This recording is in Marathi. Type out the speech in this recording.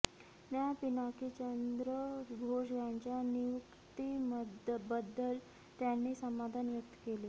न्या पिनाकी चंद्र घोष यांच्या नियुक्तीबद्दल त्यांनी समाधान व्यक्त केले